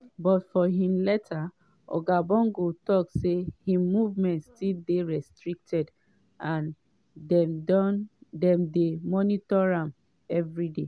but for im letter oga bongo tok say im movements still dey restricted and dem dey monitor am evriday.